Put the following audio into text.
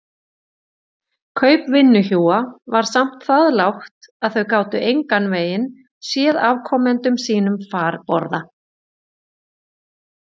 Kaup vinnuhjúa var samt það lágt að þau gátu engan veginn séð afkomendum sínum farborða.